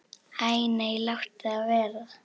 Æ nei, láttu það vera.